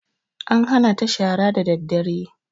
An hana ta shara daddare